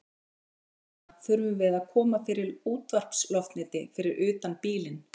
Þess vegna þurfum við að koma fyrir útvarpsloftneti fyrir utan bílinn.